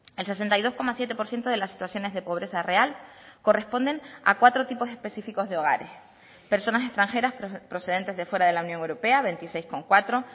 el sesenta y dos coma siete por ciento de las situaciones de pobreza real corresponden a cuatro tipos específicos de hogares personas extranjeras procedentes de fuera de la unión europea veintiséis coma cuatro